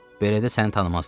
Belədə səni tanımazlar.